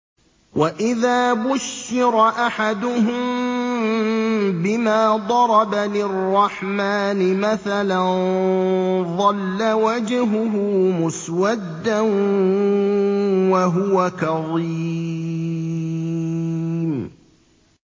وَإِذَا بُشِّرَ أَحَدُهُم بِمَا ضَرَبَ لِلرَّحْمَٰنِ مَثَلًا ظَلَّ وَجْهُهُ مُسْوَدًّا وَهُوَ كَظِيمٌ